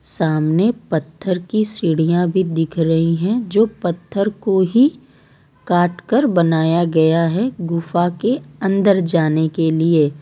सामने पत्थर की सीढ़ियां भी दिख रही है जो पत्थर को ही काट कर बनाया गया है गुफा के अंदर जाने के लिए।